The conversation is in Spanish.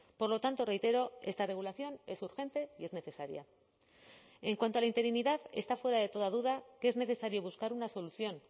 por lo tanto reitero esta regulación es urgente y es necesaria en cuanto a la interinidad está fuera de toda duda que es necesario buscar una solución